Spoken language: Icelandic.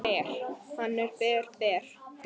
Hann er ber, ber.